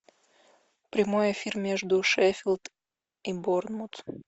прямой эфир между шеффилд и борнмут